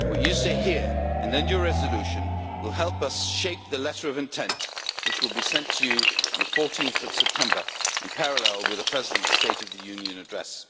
What you say here, honourable Members, and then your resolution, will help us shape the letter of intent which will be sent to you on 14 September in parallel with the President's State of the Union address.